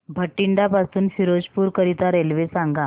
बठिंडा पासून फिरोजपुर करीता रेल्वे सांगा